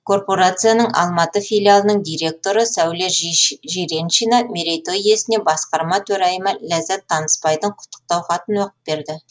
корпорацияның алматы филиалының директоры сәуле жиреншина мерейтой иесіне басқарма төрайымы ләззат танысбайдың құттықтау хатын оқып берді